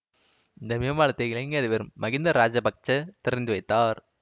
இந்த மேம்பாலத்தை இலங்கை அதிபரம் மகிந்த இராசபக்ச திறந்து வைத்தார்